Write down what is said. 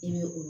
I bɛ o